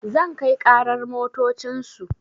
Zan kai ƙarar motocin su